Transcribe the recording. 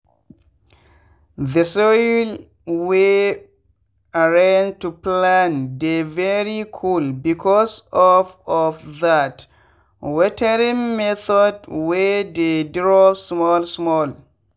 the soil wey arrange to plant dey very coolbecause of of that watering method wey dey drop small small.